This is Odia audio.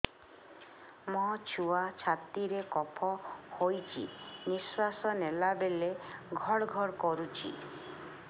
ମୋ ଛୁଆ ଛାତି ରେ କଫ ହୋଇଛି ନିଶ୍ୱାସ ନେଲା ବେଳେ ଘଡ ଘଡ କରୁଛି